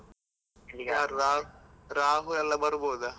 ರಾಹು ರಾಹು ಎಲ್ಲ ಬರ್ಬೊದ?